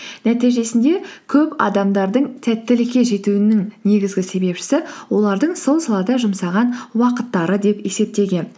нәтижесінде көп адамдардың сәттілікке жетуінің негізгі себепшісі олардың сол салада жұмсаған уақыттары деп есептеген